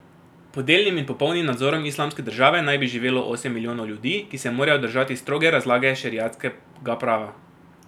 Pod delnim in popolnim nadzorom Islamske države naj bi živelo osem milijonov ljudi, ki se morajo držati stroge razlage šeriatskega prava.